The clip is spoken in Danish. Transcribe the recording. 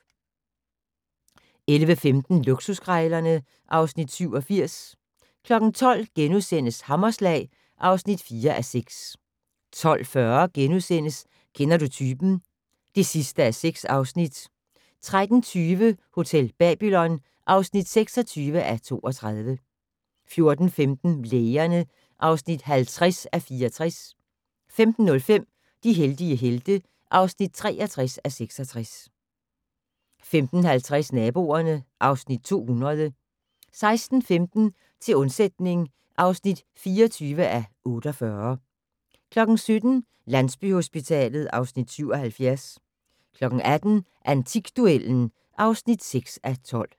11:15: Luksuskrejlerne (Afs. 87) 12:00: Hammerslag (4:6)* 12:40: Kender du typen? (6:6)* 13:20: Hotel Babylon (26:32) 14:15: Lægerne (50:64) 15:05: De heldige helte (63:66) 15:50: Naboerne (Afs. 200) 16:15: Til undsætning (24:48) 17:00: Landsbyhospitalet (Afs. 77) 18:00: Antikduellen (6:12)